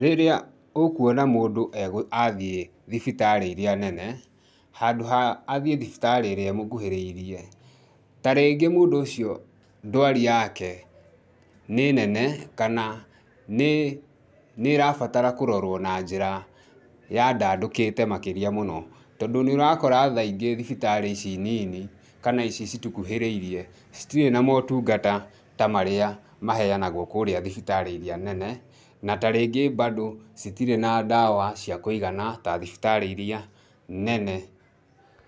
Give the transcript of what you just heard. Rĩrĩa ũkuona mũndũ athiĩ thibitarĩ iria nene, handũ ha athiĩ thibitarĩ ĩrĩa ĩmũkũhĩrĩirie. Ta rĩngĩ mũndũ ũcio ndwari yake nĩ nene kana nĩ nĩ ĩrabatara kũrorwo na njĩra ya ndandũkĩte makĩria mũno tondũ nĩ ũrakora tha ingĩ thibitarĩ ici nini, kana ici citukuhĩrĩirie citirĩ na maũtungata ta marĩa maheanagwo kũu kũrĩa thibitarĩ iria nene na tarĩngĩ bado citirĩ na ndawa cia kũigana, ta thibitarĩ iria nene.